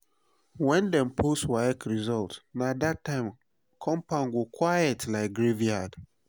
when dem post waec result na that time compound go quiet like graveyard.